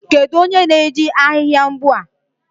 Kedu onye na-eji ahịhịa mgbu a?